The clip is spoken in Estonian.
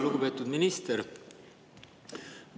Lugupeetud minister!